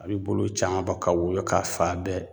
A bi bolo caan bɔ ka woyo ka fa bɛɛ